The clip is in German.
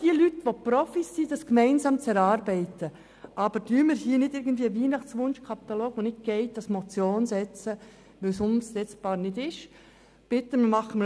Die statistischen Defizite sind nicht Herr Schneggs Problem, sondern sie stammen aus den letzten Jahren.